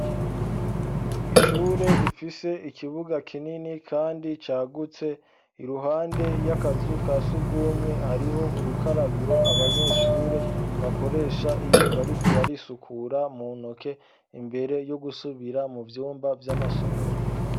Ishure rifise ikibuga kinini kandi cagutse, iruhande y'akazu ka sugumwe hariho urukarabiro abanyeshure bakoresha iyo bariko barisukura mu ntoke, imbere yo gusubira mu vyumba vy'amasomero.